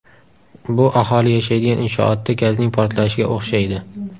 Bu aholi yashaydigan inshootda gazning portlashiga o‘xshaydi.